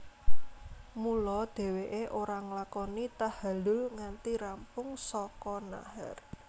Mula dhèwèké ora nglakoni tahalul nganti rampung saka nahar